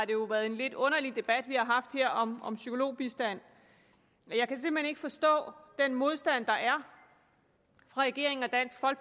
jo været en lidt underlig debat vi har haft her om psykologbistand jeg kan simpelt hen ikke forstå den modstand der er fra regeringen